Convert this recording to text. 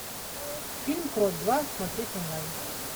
фильм крот два смотреть онлайн